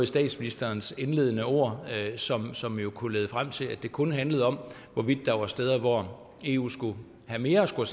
statsministerens indledende ord som som jo kunne lede frem til at det kun skulle handle om hvorvidt der var steder hvor eu skulle have mere at skulle